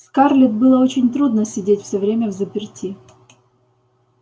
скарлетт было очень трудно сидеть всё время взаперти